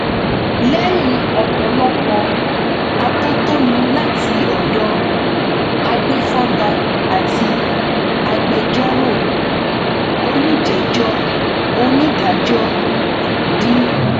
lẹyìn ọpọlọpọ atótónu láti ọdọ agbèfọba àti agbẹjọrò olùjẹjọ onídàájọ d